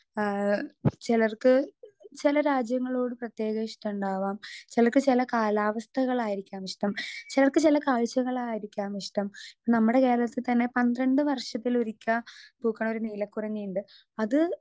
Speaker 2 ആ ചെലർക്ക് ചെല രാജ്യങ്ങളോട് പ്രത്യേക ഇഷ്ടണ്ടാവാം ചെലർക്ക് ചെല കാലാവസ്ഥകളായിരിക്കാം ഇഷ്ടം ചെലർക്ക് ചെല കാഴ്ച്ചകളായിരിക്കാം ഇഷ്ടം നമ്മടെ കേരളത്തിൽ തന്നെ പന്ത്രണ്ട് വർഷത്തിലൊരിക്കാ പൂക്ക്ണൊരു നീലകുറിഞ്ഞിണ്ട് അത്.